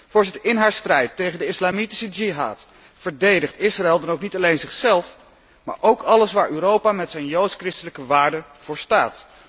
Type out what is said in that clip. Voorzitter, in haar strijd tegen de islamitische jihad verdedigt Israël dan ook niet alleen zichzelf, maar ook alles waar Europa met zijn joods christelijke waarden voor staat.